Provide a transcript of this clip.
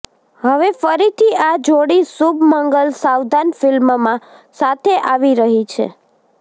હવે ફરીથી આ જોડી શુભ મંગલ સાવધાન ફિલ્મમાં સાથે આવી રહી છે